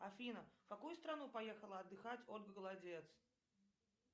афина в какую страну поехала отдыхать ольга голодец